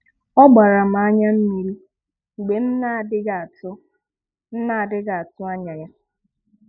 Ọ gbàrà m ànyà mmírí mgbe m n’adịghị atụ̀ m n’adịghị atụ̀ anya ya